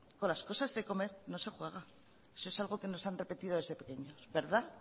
con las cosas de comer no se juega eso es algo que nos han repetido desde pequeñitos